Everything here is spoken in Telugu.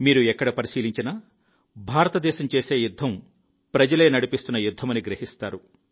మీరు ఎక్కడ పరిశీలించినా భారతదేశం చేసే యుద్ధం ప్రజలే నడిపిస్తున్న యుద్ధమని గ్రహిస్తారు